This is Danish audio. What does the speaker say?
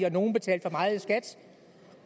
at nogle betalte for meget i skat